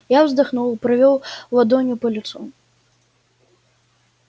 я вздохнул провёл ладонью по лицу